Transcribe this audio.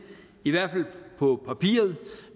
i hvert fald på papiret